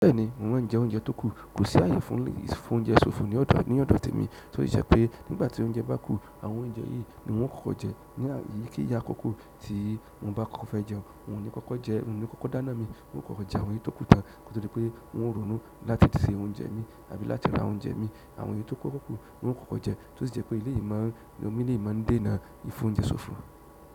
Bẹ́ẹ̀ni, mo mọ́ ń jẹ oúnjẹ tó kù, kò sí àyè fún, fún oúnjẹ sófo ní ọ̀dọ̀, ní ọ̀dọ̀ tèmi. So ìṣẹ́ pé nígbà tí oúnjẹ bá kú àwọn oúnjẹ yìí ni wọ́n kókó jẹ. Ní àyi ke yi akókó tí mo bá kó fẹ́ jẹun, wun o ni kókó jẹ, wun ni kókó dáná mi, wun o kókó jẹ àwọn èyí tó kú tan koto di pé wọn ò rònú láti ṣe oúnjẹ mi àbí láti ra oúnjẹ mi. Àwọn èyí tó kókó kú, wun o kókó jẹ. To sì jẹ́ pé eleyi mọ ń, ran mi lé mo ń dé náà i f'oúnjẹ sófo.